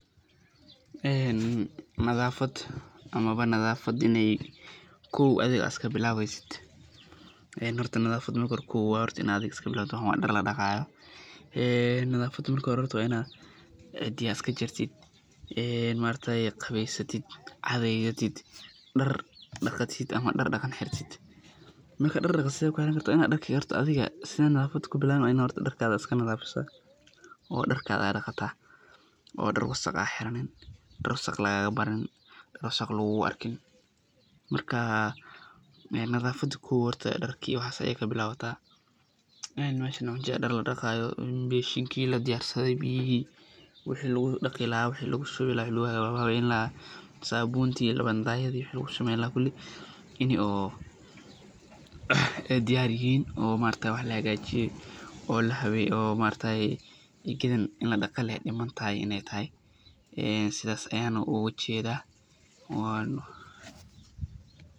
Een nadhafad, amaba nadhafadh inay kow adhiga adh iskabilabeysidh, ee xorta nadhafadh kow xorta wa inadh adhiga iskabilabtidh, waxan wa dar ladagayo, een nadhafada marka xore wa ina cidhiyaya iskajartidh, een maarkayee qaweysatidh, catheyatidh, dar ama dar daqan xiratidh, marka dar daqan sidhe kuxirankarta wa inadh xorta adhiga saa nadhafat kubilwii wa inadh darkadha iskanadhafisa oo darkadha daqataa oo dar wasaq adh xiranin, dar wasaq lagalabaranin, wasaq lagulaarkin, markaa nadhafat kow xorta darkiyo waxas ayay kabilawataa, een meshanaa waxa ujedha dar ladaqayo, beshinki ladiyarsadhe, biyixii wixi lagudagilaxay, wixi lagushuwilaxay waxaa waye i loxagajinaya, sabunti iyo lawaldhayadhi wixi samenlaxay kulii inu oo diyar yixin o maaraktaye wax laxagajiyee, o laxaweyee o maaraktaye in ini ladaqaye lee dimantaxay inay taxay sidhas ayan halka u gujedhaa wan.